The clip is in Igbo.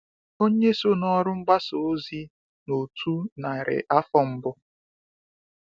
Ònye so n’ọrụ mgbasa ozi n’otu narị afọ mbụ?